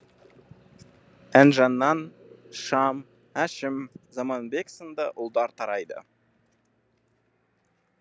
інжінан шам әшім заманбек сынды ұлдар тарайды